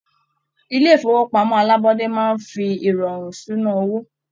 Ilé ifowopamọ alabọde máa n fí irọrun ìṣúná owó.